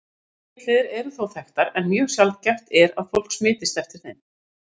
Aðrar smitleiðir eru þó þekktar, en mjög sjaldgæft er að fólk smitist eftir þeim.